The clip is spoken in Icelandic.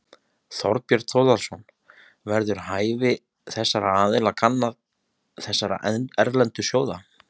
Þorbjörn Þórðarson: Verður hæfi þessara aðila kannað, þessara erlendu sjóða?